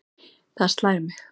Það slær mig.